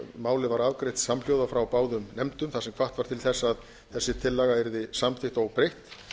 málið var afgreitt samhljóða frá báðum nefndum þar sem hvatt var til þess að þessi tillaga yrði samþykkt óbreytt